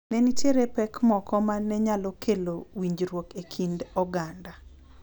Ne nitie pek moko ma ne nyalo kelo winjruok e kind oganda